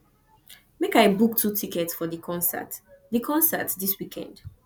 make i book two tickets for di concert di concert dis weekend